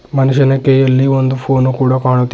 ಮನುಷ್ಯನ ಕೈಯಲ್ಲಿ ಒಂದು ಫೋನು ಕೂಡ ಕಾಣುತಿ--